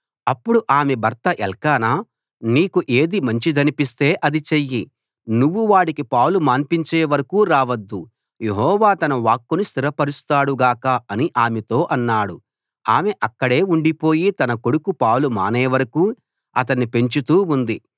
అప్పుడు ఆమె భర్త ఎల్కానా నీకు ఏది మంచిదనిపిస్తే అది చెయ్యి నువ్వు వాడికి పాలు మాన్పించే వరకూ రావద్దు యెహోవా తన వాక్కును స్థిరపరుస్తాడు గాక అని ఆమెతో అన్నాడు ఆమె అక్కడే ఉండిపోయి తన కొడుకు పాలు మానేవరకూ అతన్ని పెంచుతూ ఉంది